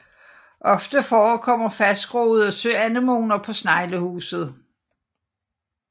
Ofte forekommer fastgroede søanemoner på sneglehuset